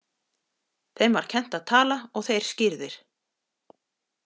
Þeim var kennt að tala og þeir skírðir.